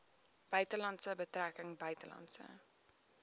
buitelandse betrekkinge buitelandse